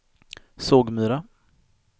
Sågmyra